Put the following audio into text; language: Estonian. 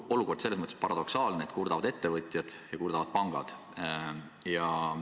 Olukord on selles mõttes paradoksaalne, et kurdavad ettevõtjad ja kurdavad pangad.